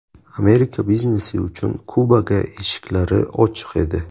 Amerika biznesi uchun Kubaga eshiklari ochiq edi.